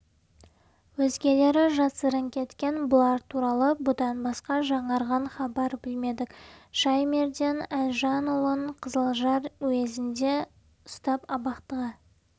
өзгелері жасырын кеткен бұлар туралы бұдан басқа жаңарған хабар білмедік шаймерден әлжанұлын қызылжар уезінде ұстап абақтыға